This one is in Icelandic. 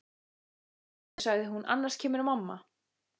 Opnaðu sagði hún, annars kemur mamma